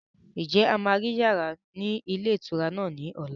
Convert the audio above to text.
Ǹjẹ́ a máa rí yàrá ni ilé ìtura náà ni ọ̀la?